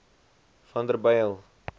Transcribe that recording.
vanderbijl